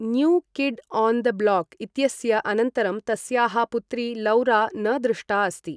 New kid on the block इत्यस्य अनन्तरं तस्याः पुत्री लौरा न दृष्टा अस्ति ।